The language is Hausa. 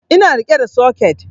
Ina riƙe da soket